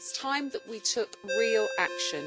It is time that we took real action.